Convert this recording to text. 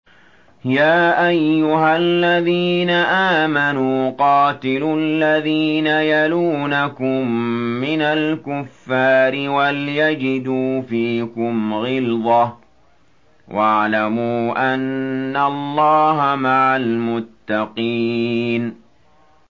يَا أَيُّهَا الَّذِينَ آمَنُوا قَاتِلُوا الَّذِينَ يَلُونَكُم مِّنَ الْكُفَّارِ وَلْيَجِدُوا فِيكُمْ غِلْظَةً ۚ وَاعْلَمُوا أَنَّ اللَّهَ مَعَ الْمُتَّقِينَ